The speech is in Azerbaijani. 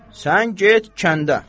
Sən get kəndə.